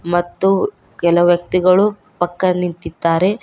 ಮತ್ತು ಕೆಲ ವ್ಯಕ್ತಿಗಳು ಪಕ್ಕ ನಿಂತಿದ್ದಾರೆ.